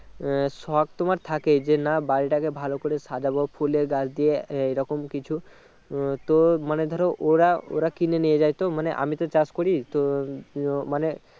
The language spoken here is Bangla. আহ শখ তোমার থাকে যে না বাড়িটাকে ভালো করে সাজাব ফুলের গাছ দিয়ে এইরকম কিছু উম তো মানে ধরো ওরা ওরা কিনে নিয়ে যাই তো মানে আমি তো চাষ করি তো ও মানে